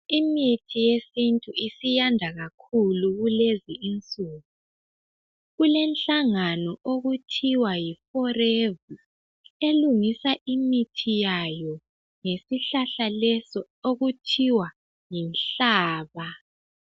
Imithi yesintu isiyanda kakhulu kulezi insuku. Kulenhlangano okuthiwa yiForever elungisa imithi yayo ngesihlahla leso okuthiwa yinhlaba.